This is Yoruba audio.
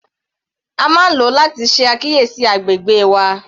A máa ń lo láti ṣe àkíyèsí agbègbè wa.